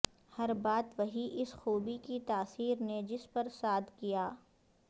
ہر بات وہی اس خوبی کی تاثیر نے جس پر صاد کیا